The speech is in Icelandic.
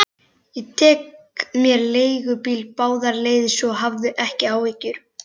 Ég tek mér leigubíl báðar leiðir, svo hafðu ekki áhyggjur.